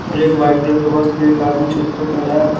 फिर एक white colour के वस्त पे एक आदमी छत पे खड़ा है।